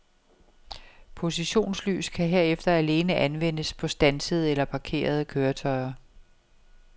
Positionslys kan herefter alene anvendes på standsede eller parkerede køretøjer.